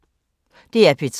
DR P3